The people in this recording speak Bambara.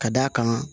Ka d'a kan